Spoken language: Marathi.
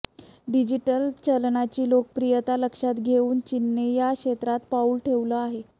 डिजिटल चलनाची लोकप्रियता लक्षात घेऊन चीनने या क्षेत्रात पाऊल ठेवलं आहे